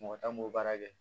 Mɔgɔ tan b'o baara kɛ